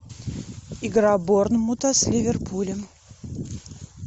игра борнмута с ливерпулем